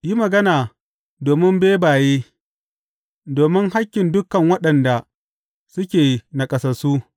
Yi magana domin bebaye, domin hakkin dukan waɗanda suke naƙasassu.